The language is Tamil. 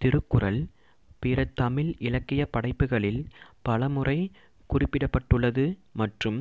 திருக்குறள் பிற தமிழ் இலக்கியப் படைப்புகளில் பல முறை குறிப்பிடப்பட்டுள்ளது மற்றும்